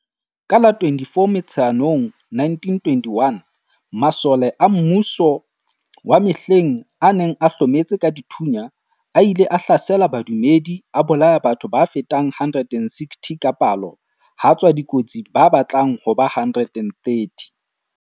Ka la 24 Motsheanong 1921, masole a mmuso wa mehleng a neng a hlometse ka dithunya a ile a hlasela badumedi a bolaya batho ba fetang 160 ka palo ha tswa dikotsi ba batlang ba ba 130.